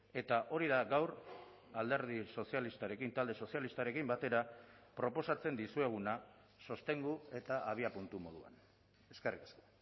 eta hori da gaur alderdi sozialistarekin talde sozialistarekin batera proposatzen dizueguna sostengu eta abiapuntu moduan eskerrik asko